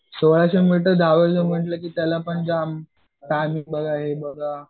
म्हंटल कीत्याला पण जाम पॅनिक बघा हे बघा